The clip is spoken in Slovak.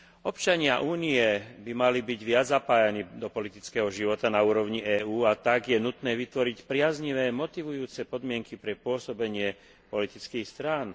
Občania Únie by mali byť viac zapájaní do politického života na úrovni EÚ, a tak je nutné vytvoriť priaznivé motivujúce podmienky pre pôsobenie politických strán.